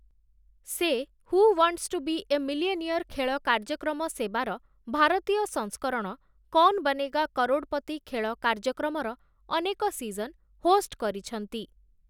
ସେ 'who wants to be a millionaire' ଖେଳ କାର୍ଯ୍ୟକ୍ରମ ସେବାର ଭାରତୀୟ ସଂସ୍କରଣ 'କୌନ୍ ବନେଗା କରୋଡ଼୍‌ପତି' ଖେଳ କାର୍ଯ୍ୟକ୍ରମର ଅନେକ ସିଜନ୍ ହୋଷ୍ଟ୍ କରିଛନ୍ତି ।